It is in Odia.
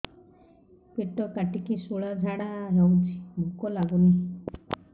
ପେଟ କାଟିକି ଶୂଳା ଝାଡ଼ା ହଉଚି ଭୁକ ଲାଗୁନି